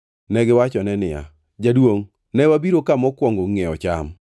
Negiwachone niya, “Jaduongʼ ne wabiro ka mokwongo ngʼiewo cham.